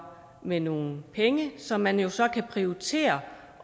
med nogle penge som man jo så kunne prioritere